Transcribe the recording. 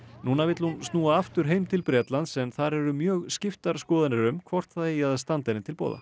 núna vill hún snúa aftur heim til Bretlands en þar eru mjög skiptar skoðanir um hvort það eigi að standa henni til boða